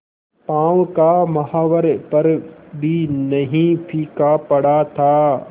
पांव का महावर पर भी नहीं फीका पड़ा था